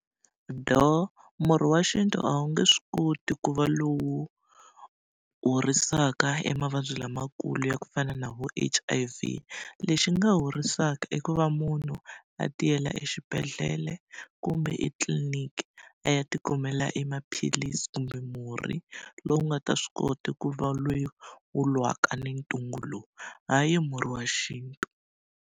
Door, murhi wa xintu a wu nge swi koti ku va lowu horisaka emavabyi lamakulu ya ku fana na vo H_I_V. Lexi nga horisaka i ku va munhu a tiyela exibedhlele kumbe etliniki, a ya tikumela emaphilisi kumbe murhi lowu nga ta swi kota ku va lowu wu lwaka ni ntungu lowu. Hayi murhi wa xintu.